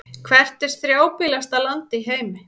Hvert er strjálbýlasta land í heimi?